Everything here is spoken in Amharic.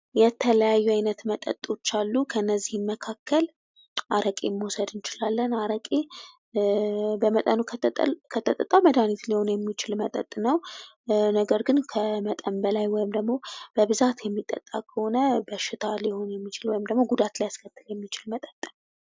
የተለያዩ አይነት መጠጦች አሉ። ከእነዚህም መካከል አረቄን መውሰድ እንችላለን። አረቄ በመጠኑ ከተጠጣ መድኃኒት ሊሆን የሚችል መጠጥ ነው። ነገር ግን ከመጠን በላይ ወይም ደግሞ በብዛት የሚጠጣ ከሆነ በሽታ ሊሆን የሚችል ወይም ደግሞ ጉዳት ሊያስከትል የሚችል መጠጥ ነው።